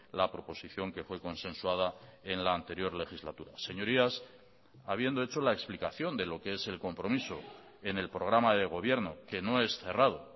la proposición que fue consensuada en la anterior legislatura señorías habiendo hecho la explicación de lo que es el compromiso en el programa de gobierno que no es cerrado